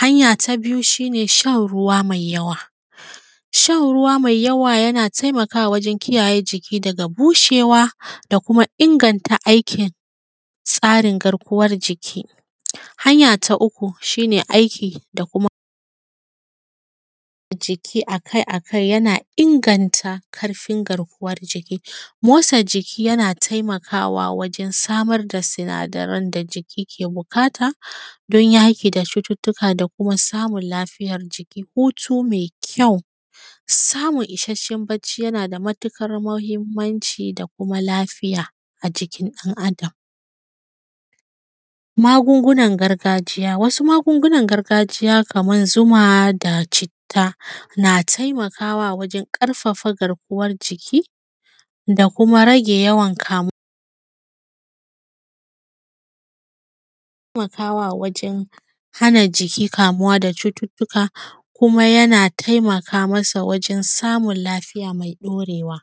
Hanya ta biyu shi ne shan ruwa mai yawa, shan ruwa mai yawa shi ne yana taimakawa wajen kiyaye jiki daga bushewa, da kuma inganta aikin tsarin garkuwan jiki. Hanya ta uku shi ne aiki da kuma aiki akai-akai yana inganta ƙarfin gaarkuwan jiki, motsa jiki yana taimakawa wajen samar da sinadaran da jiki ke buƙata dan yaƙi da cututtuka da kuma samun lafiyan jiki, hutu mai kyau, samun isashshen bacci mai kyau yana da matuƙar mahimanci da kuma lafiya a jikin ɗan Adam da kuma lafiya maagungunan gargajiya. Wasu magungunan gargajiya kaman zuma da citta na taimakawa wajen ƙarfafa garkuwan jiki, da kuma rage yawan kamuwa yana taimakawa wajen hana jiki kamuwa da cututtuka kuma yana taimaka masa wajen samun lafiya mai ɗaurewa.